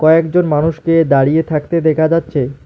কয়েকজন মানুষকে দাঁড়িয়ে থাকতে দেখা যাচ্ছে।